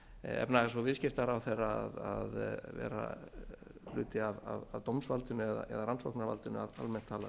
efnahags og viðskiptaráðherra að vera hluti af dómsvaldinu eða rannsóknarvaldinu almennt talað